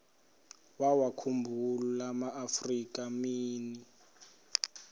wawakhumbul amaafrika mini